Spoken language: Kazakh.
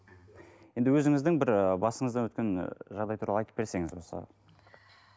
енді өзіңіздің бір ы басыңыздан өткен ы жағдай туралы айтып берсеңіз осы